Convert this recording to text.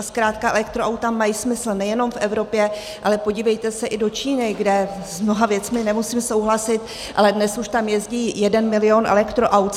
A zkrátka elektroauta mají smysl nejenom v Evropě, ale podívejte se i do Číny, kde s mnoha věcmi nemusím souhlasit, ale dnes už tam jezdí jeden milion elektroaut.